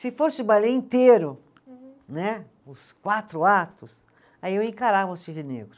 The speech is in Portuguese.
Se fosse o balé inteiro. Uhum. Né, os quatro atos, aí eu encarava o cisne negro.